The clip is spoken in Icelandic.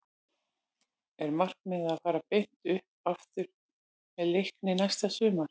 Er markmiðið að fara beint upp aftur með Leikni næsta sumar?